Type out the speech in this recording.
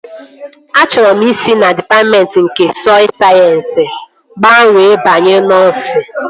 Achọrọ m isi na dịpatmentị nke sọy sayensị gbanwee banye nọsịn